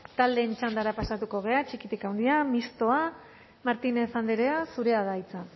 taldeen txandara pasatuko gara txikitik haundira mistoa martínez andrea zurea da hitza